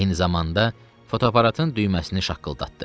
Eyni zamanda fotoaparatın düyməsini şaqqıldatdı.